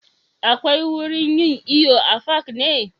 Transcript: Akwai wurin yin iyo a fak ne?